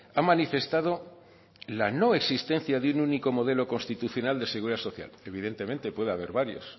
ha manifestado la no existencia de un único modelo constitucional de seguridad social evidentemente puede haber varios